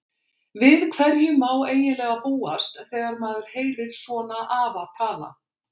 Við hverju má eiginlega búast þegar maður heyrir svona afa tala.